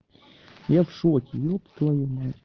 я в шоке еб твою мать